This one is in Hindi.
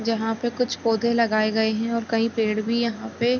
जहाँ पे कुछ पौधे लगाए गए हैं और कई पेड़ भी है यहाँ पे।